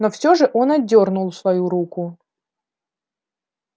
но всё же он отдёрнул свою руку